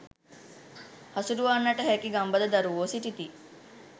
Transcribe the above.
හසුරුවන්නට හැකි ගම්බද දරුවෝ සිටිති